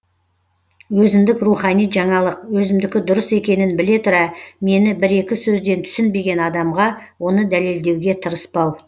өзіндік рухани жаңалық өзімдікі дұрыс екенін біле тұра мені бір екі сөзден түсінбеген адамға оны дәлелдеуге тырыспау